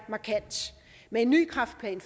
med en ny kræftplan